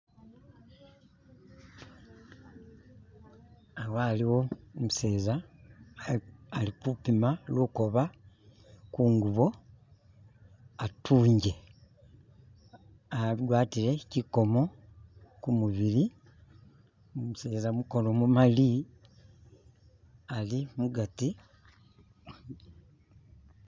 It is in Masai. Awa haliwo umuseza alikupima lukoba kungubo atunje agwatile chikomo kumubili umuseza mukono mumali ali mugati